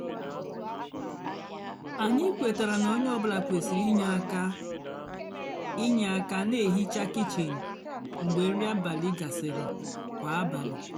ányị kwetara ná ónyé ọ bụlà kwesịrị ínyé ínyé ákà nà-èhicha kichin mgbe nrì abálị gasịrị kwá abálị.